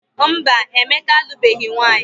Mba, Emeka alụbeghị nwaanyị.